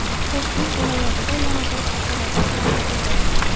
Toshkent viloyatida yana bir fotoradar o‘rnatildi.